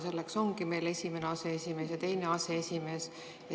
Selleks ongi meil esimene aseesimees ja teine aseesimees.